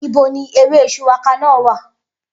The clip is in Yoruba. Ibo ni ewé shuwaka náà wà?